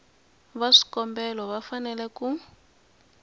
va swikombelo va fanele ku